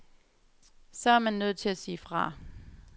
Så er man nødt til at sige fra.